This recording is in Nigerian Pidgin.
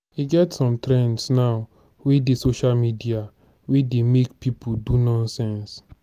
e get some trends now wey dey social media wey dey make people do nonsense.